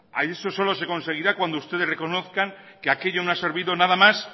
esto solo se conseguirá cuando ustedes reconozcan que aquello no ha servido nada más